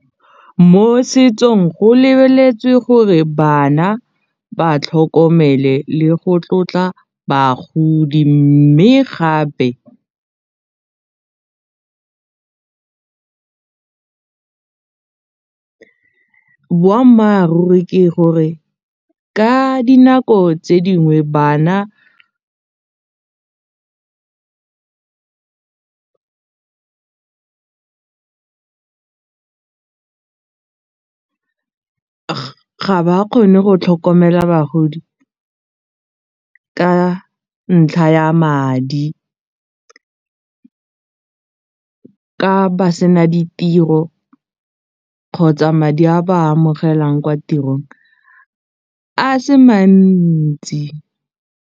Mo setsong go lebeletswe gore bana ba tlhokomele le go tlotla bagodi mme gape boammaaruri ke gore ka dinako tse dingwe bana ga ba kgone go tlhokomela bagodi ka ntlha ya madi ka ba se na ditiro kgotsa madi a ba a amogelang kwa tirong a se mantsi.